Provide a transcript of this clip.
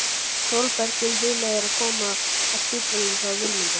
Þórbergur hugleiðir að koma að á spítalanum hjá Vilmundi.